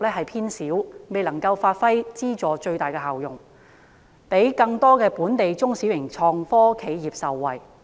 基金因而未能夠發揮最大效用，讓更多本地中小型創科企業受惠。